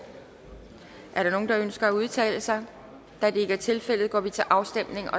er der nogen der ønsker at udtale sig da det ikke er tilfældet går vi til afstemning